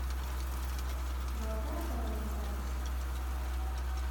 золотая корона запись